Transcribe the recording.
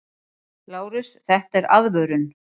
LÁRUS: Þetta er aðvörun!